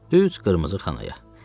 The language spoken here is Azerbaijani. Düz qırmızı xanaya.